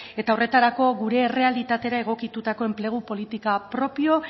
eta horretarako gure errealitatera egokitutako enplegu politika propio